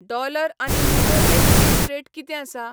Dollar आनी euro exchange rate कितें आसा?